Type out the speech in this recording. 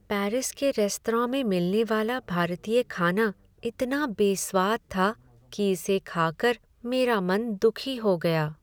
Paris के restaurant में मिलने वाला भारतीय खाना इतना बेस्वाद था कि इसे खा कर मेरा मन दुखी हो गया।